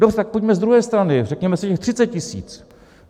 Dobře, tak pojďme z druhé strany, řekněme si těch 30 tisíc.